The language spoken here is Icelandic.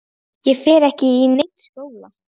Ég fer ekkert í neinn skóla!